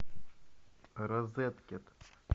розеткед